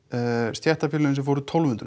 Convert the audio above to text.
stéttarfélögin sem fóru tólf hundruð